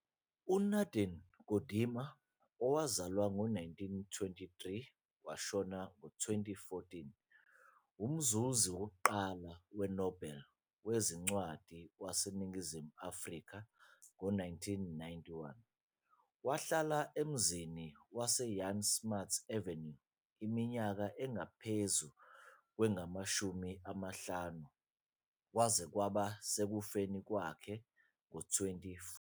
UNadine Gordimer, 1923 - 2014, umzuzi wokuqala we-Nobel wezincwadi waseNingizimu Afrika, 1991, wahlala emzini wase-Jan Smuts Avenue iminyaka engaphezu kwengu-50, kwaze kwaba sekufeni kwakhe ngo-2014.